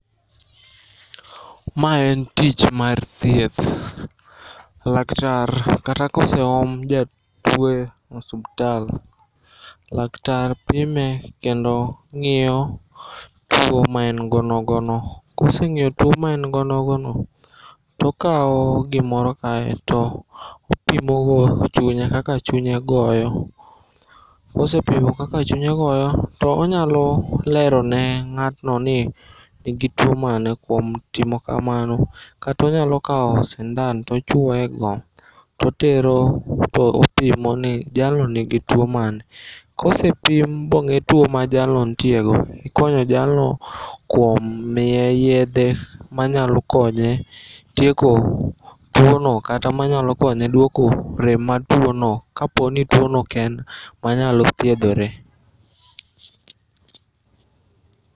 Ma en tich mar thieth. Laktar kata koseom jatuo e osiptal. Laktar pime kendo ng'iyo tuo maengo nogono. Koseng'eyo tuo ma en godo nogono tokao gimoro kae topimogo chunye kaka chunye goyo. Kosepimo kaka chunye goyo to onyalo lerone ng'atno ni nigi tuo mane kuom timo kamano. Katonyalo kao sindan tochuoego totero topimoni jalno nigi tuo mane kosepim bong'e tuo ma jalno ntiego tikonyo jalno kuom miye yedhe manyalo konye tieko tuono kata manyalo konye duoko rem mar tuono ka poni tuono oken manyalo thiedhore.